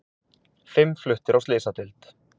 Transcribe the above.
Fimm fluttir á slysadeild